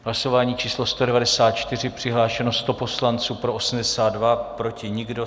Hlasování číslo 194, přihlášeno 100 poslanců, pro 82, proti nikdo.